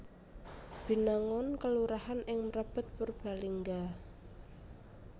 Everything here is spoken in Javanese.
Binangun kelurahan ing Mrebet Purbalingga